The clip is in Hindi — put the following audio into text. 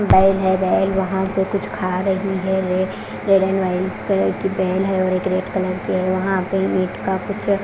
बैल है बैल वहां पे कुछ खा रही है और एक रेड एंड व्हाइट कलर की बैल है और एक रेड कलर की है वहां पे मीट का कुछ --